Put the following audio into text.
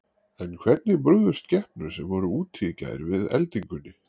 En hvernig brugðust skepnur sem voru úti í gær við eldingunni?